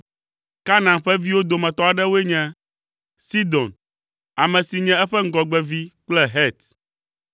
Kanaan ƒe viwo dometɔ aɖewoe nye: Sidon, ame si nye eƒe ŋgɔgbevi kple Het.